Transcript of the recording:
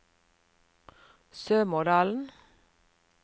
Sømådalen